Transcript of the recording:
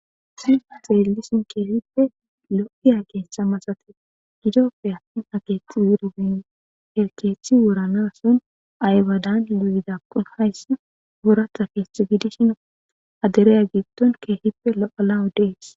Sit xeelisin keesippe lo'iya geesha masate gidoppe attin aget wuribin erkeethi woranason aywadan luidakkon hayssi wora tafeth gidishino adereya gitton keehippe lo'alawo dees.